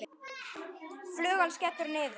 Flugan skellur niður.